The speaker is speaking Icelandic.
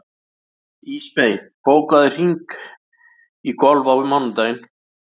Ísmey, bókaðu hring í golf á mánudaginn.